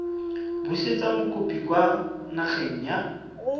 busetsa mokopi kwa nageng ya